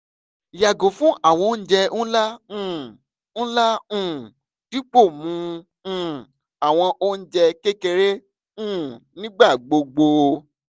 yago fun awọn ounjẹ nla um nla um dipo mu um awọn ounjẹ kekere um nigbagbogbo